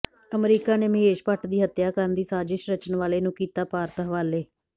America ਨੇ ਮਹੇਸ਼ ਭੱਟ ਦੀ ਹੱਤਿਆ ਕਰਨ ਦੀ ਸਾਜ਼ਿਸ਼ ਰਚਣ ਵਾਲੇ ਨੂੰ ਕੀਤਾ ਭਾਰਤ ਹਵਾਲੇ